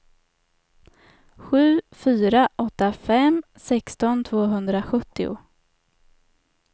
sju fyra åtta fem sexton tvåhundrasjuttio